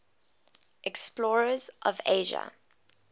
explorers of asia